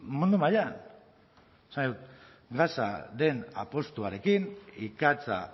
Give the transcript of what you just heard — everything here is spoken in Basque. mundu mailan esan nahi dut gasaren apustuarekin ikatza